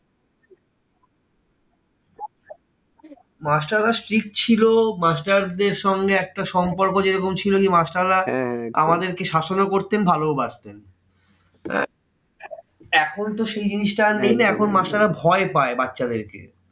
মাস্টাররা strict ছিল। মাস্টারদের সঙ্গে একটা সম্পর্ক যেরকম ছিল কি master রা আমাদেরকে শাসনও করতেন ভালোও বাসতেন। এখন আর সেই জিনিসটা আর নেই না, এখন মাস্টাররা ভয় পায় বাচ্চাদের কে।